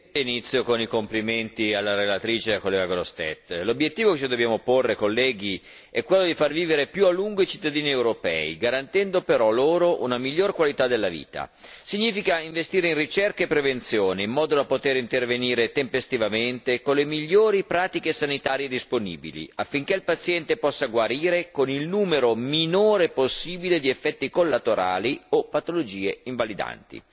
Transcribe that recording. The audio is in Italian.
Signora Presidente, onorevoli colleghi, inizio con i complimenti alla relatrice, collega Grossetête. L'obiettivo che ci dobbiamo porre è quello di far vivere più a lungo i cittadini europei, garantendo però loro una migliore qualità della vita. Significa investire in ricerca e prevenzione, in modo da poter intervenire tempestivamente con le migliori pratiche sanitarie disponibili, affinché il paziente possa guarire con il numero minore possibile di effetti collaterali o patologie invalidanti.